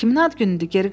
Kiminin ad günüdür?